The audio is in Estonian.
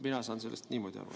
Mina saan sellest niimoodi aru.